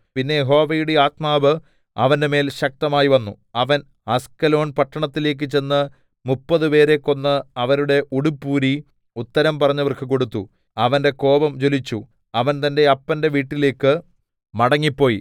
പിന്നെ യഹോവയുടെ ആത്മാവ് അവന്റെമേൽ ശക്തമായി വന്നു അവൻ അസ്കലോന്‍ പട്ടണത്തിലേക്ക് ചെന്ന് മുപ്പത് പേരെ കൊന്ന് അവരുടെ ഉടുപ്പൂരി ഉത്തരം പറഞ്ഞവർക്ക് കൊടുത്തു അവന്റെ കോപം ജ്വലിച്ചു അവൻ തന്റെ അപ്പന്റെ വീട്ടിലേക്ക് മടങ്ങിപ്പോയി